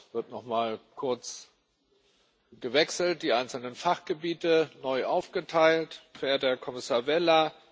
Jetzt wird noch mal kurz gewechselt, die einzelnen Fachgebiete neu aufgeteilt, verehrter Herr Kommissar Vella.